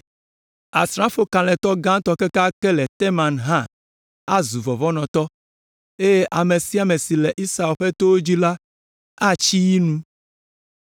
Asrafo kalẽtɔ gãtɔ kekeake le Teman hã azu vɔvɔ̃nɔtɔ eye ame sia ame si le Esau ƒe towo dzi la, atsi yi nu.